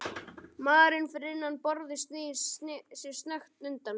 Maðurinn fyrir innan borðið snýr sér snöggt undan.